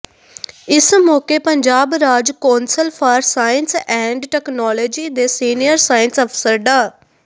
ਇਸ ਮੌਕੇ ਪੰਜਾਬ ਰਾਜ council for science and technology ਦੇ ਸੀਨੀਅਰ ਸਾਇੰਸ ਅਫਸਰ ਡਾ